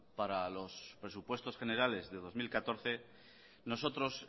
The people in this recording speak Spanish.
para los presupuestos generales de dos mil catorce nosotros